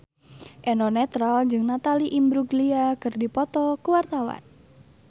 Eno Netral jeung Natalie Imbruglia keur dipoto ku wartawan